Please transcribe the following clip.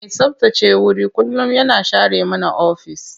Mai tsabtace wuri kullum yana share mana ofis.